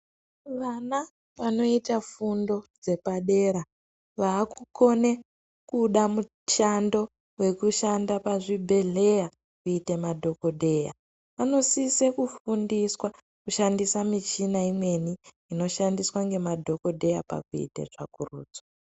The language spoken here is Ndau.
Wana wanoita fundo dzepadera, waakukone kuda mushando wekushande pazvibhedhleya kuita madhokodheya wanosise kufundiswa kushandisa michina imweni inoshandiswa nemadhokodheya pakuite tsvakurudzo.